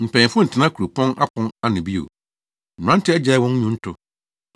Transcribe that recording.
Mpanyimfo ntena kuropɔn apon ano bio; mmerante agyae wɔn nnwonto.